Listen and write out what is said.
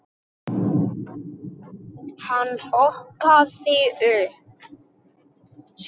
Hann hoppaði upp.